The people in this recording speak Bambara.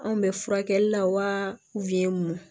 Anw bɛ furakɛli la wa